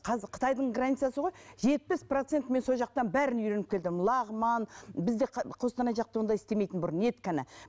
қазір қытайдың границасы ғой жетпіс процентін мен сол жақтан бәрін үйреніп келдім лағман бізде қостанай жақта ондай істемейтін бұрын ет ғана